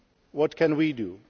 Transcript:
What can we do?